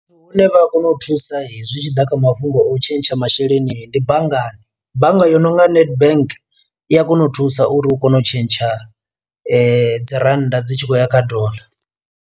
Vhune vha a kona u thusa hezwi zwi tshi ḓa kha mafhungo o tshentsha masheleni ndi banngani, bannga yo nonga Nedbank i a kona u thusa uri u kone u tshentsha dzi rannda dzi tshi khou ya kha doḽa.